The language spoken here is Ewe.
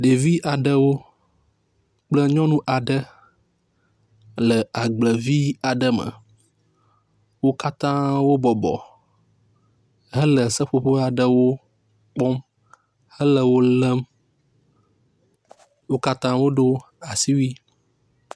Ɖevi aɖewo kple nyɔnu aɖe le agblevi aɖe me. Wo katã wo bɔbɔ hele seƒoƒo aɖewo kpɔm hele wo lem wo katã wodo asiwui.